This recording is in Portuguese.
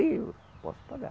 Eu posso pagar.